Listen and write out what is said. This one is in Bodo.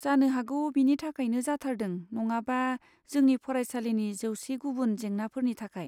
जानो हागौ बेनि थाखायनो जाथारदों नङाबा जोंनि फरायसालिनि जौसे गुबुन जेंनाफोरनि थाखाय।